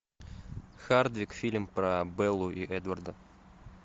хардвик фильм про беллу и эдварда